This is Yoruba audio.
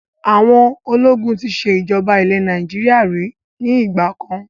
Àwọn ológun tí ṣe ìjọba ilẹ̀ Nàìjíríà ríi ni ìgbàkan